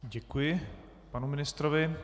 Děkuji panu ministrovi.